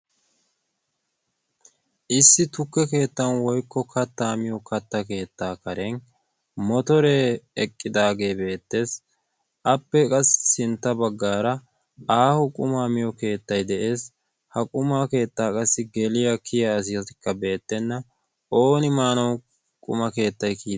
issi tukke keettan woikko kattaa miyo katta keettaa karen motoree eqqidaagee beettees. appe qassi sintta baggaara aaho qumaa miyo keettai de7ees. ha qumaa keettaa qassi geliyaa kiya asizaikka beettenna. ooni maanau quma keettai kiyia?